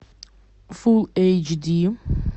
фул эйч ди